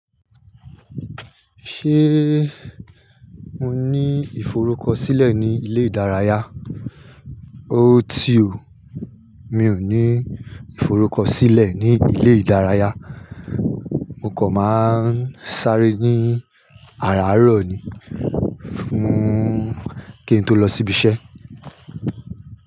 Ṣé mo ní ìforúkọ̀sílẹ̀ ní ilẹ̀ ìdáràyà? Óòtì ó, mi ò ní ìforúkọ̀sílẹ̀ ní ilẹ̀ ìdáràyà, mo kọ̀ má n sáré ní àràárọ̀ ni fún kí n tó lọ sí ibi iṣẹ́.